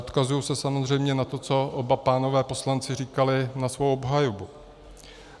Odkazuji se samozřejmě na to, co oba pánové poslanci říkali na svou obhajobu.